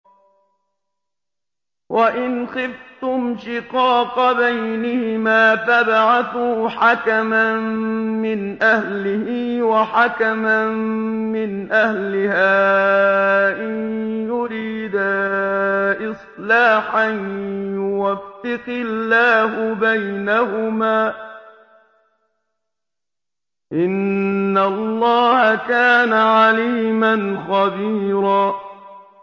وَإِنْ خِفْتُمْ شِقَاقَ بَيْنِهِمَا فَابْعَثُوا حَكَمًا مِّنْ أَهْلِهِ وَحَكَمًا مِّنْ أَهْلِهَا إِن يُرِيدَا إِصْلَاحًا يُوَفِّقِ اللَّهُ بَيْنَهُمَا ۗ إِنَّ اللَّهَ كَانَ عَلِيمًا خَبِيرًا